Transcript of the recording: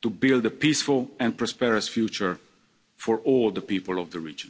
to build a peaceful and prosperous future for all the people of the